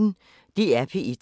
DR P1